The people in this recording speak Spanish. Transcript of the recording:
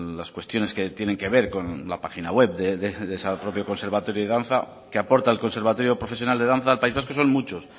las cuestiones que tienen que ver con la página web del propio conservatorio de danza que aporta el conservatorio profesional de danza al país vasco son muchos